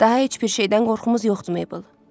Daha heç bir şeydən qorxumuz yoxdur Maybel.